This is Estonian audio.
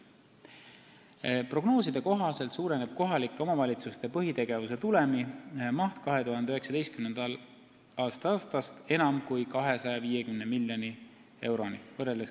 Prognooside kohaselt kasvab kohalike omavalitsuste põhitegevuse tulemi maht 2019. aastast üle 250 miljoni euro.